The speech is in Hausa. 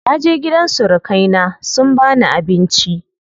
Naje gidan surukai na sun bani abinci.